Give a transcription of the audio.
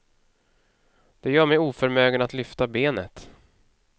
Det gör mig oförmögen att lyfta benet.